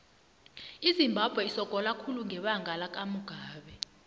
izimbabwe isogola khulu ngebanga lakamugabe